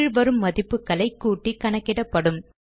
கீழ் வரும் மதிப்புகளை கூட்டி கணக்கிடப்படும்